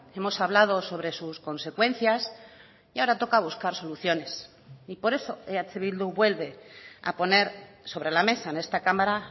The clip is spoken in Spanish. hemos hablado sobre sus consecuencias y ahora toca buscar soluciones y por eso eh bildu vuelve a poner sobre la mesa en esta cámara